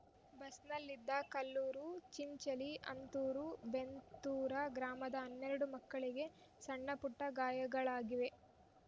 ಬಸ್‌ನಲ್ಲಿದ್ದ ಕಲ್ಲೂರು ಚಿಂಚಲಿ ಅಂತೂರ ಬೆಂತೂರ ಗ್ರಾಮದ ಹನ್ನೆರಡು ಮಕ್ಕಳಿಗೆ ಸಣ್ಣಪುಟ್ಟಗಾಯಗಳಾಗಿವೆ